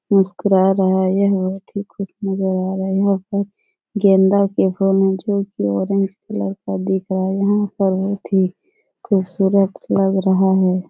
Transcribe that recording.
मुस्कुरा रहा है। यह बोहोत ही खुश नजर आ रहा है। ऑरेंज कलर दिख रहा है। यहाँ पर बोहोत ही खूबसूरत लग रहा है।